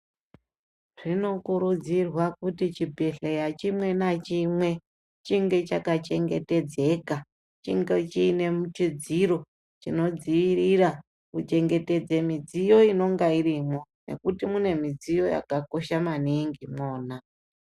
Zvinokurudzirwa kuti chibhedhleya chimwe nachimwe chinge chakachengetedzeka, chinge chine chidziro chinodziirira kuchengetedze midziyo inenge irimwo nekuti mune midziyo yakakosha maningi mwona.